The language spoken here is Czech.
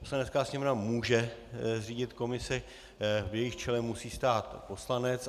Poslanecká sněmovna může zřídit komisi, v jejímž čele musí stát poslanec.